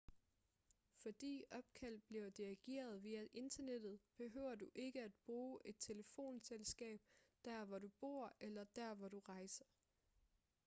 fordi opkald bliver dirigeret via internettet behøver du ikke at bruge et telefonselskab der hvor du bor eller der hvor du rejser